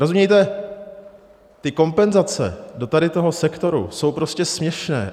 Rozumějte, ty kompenzace do tady toho sektoru jsou prostě směšné.